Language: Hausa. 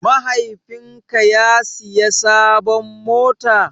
Mahaifin ka ya siya sabon mota?